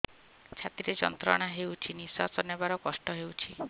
ଛାତି ରେ ଯନ୍ତ୍ରଣା ହେଉଛି ନିଶ୍ଵାସ ନେବାର କଷ୍ଟ ହେଉଛି